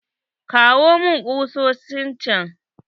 Kawo mun kusosin chan.